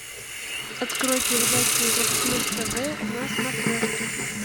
открой передачу европа плюс тв на смотрешке